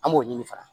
An b'o ɲini fana